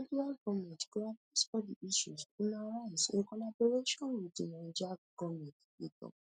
di federal goment go address all di issues una raise in collaboration wit di niger goment e tok